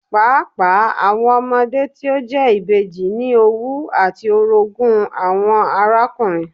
Paapaa awọn ọmọde ti o jẹ ibeji ni owú ati orogun awọn arakunrin